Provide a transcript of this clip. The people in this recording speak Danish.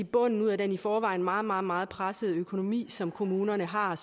bunden ud af den i forvejen meget meget meget pressede økonomi som kommunerne har